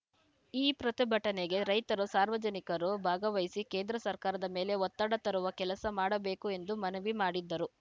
ಈ ಪ್ರತಿಭಟನೆಗೆ ರೈತರು ಸಾರ್ವಜನಿಕರು ಭಾಗವಹಿಸಿ ಕೇಂದ್ರ ಸರ್ಕಾರದ ಮೇಲೆ ಒತ್ತಡ ತರುವ ಕೆಲಸ ಮಾಡಬೇಕು ಎಂದು ಮನವಿ ಮಾಡಿದ್ಧರು